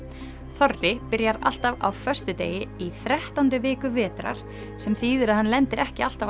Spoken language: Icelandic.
þorri byrjar alltaf á föstudegi í þrettándu viku vetrar sem þýðir að hann lendir ekki alltaf á